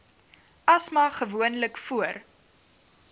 asma gewoonlik voor